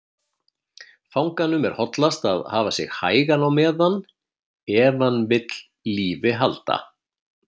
Fanganum er hollast að hafa sig hægan á meðan, ef hann vill lífi halda.